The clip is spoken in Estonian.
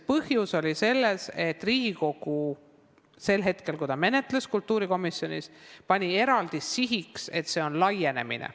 Põhjus on selles, et Riigikogu sel hetkel, kui ta seda kultuurikomisjonis menetles, pani eraldi sihiks laienemise.